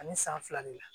Ani san fila de la